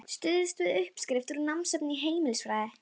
Stuðst við uppskrift úr námsefni í heimilisfræði.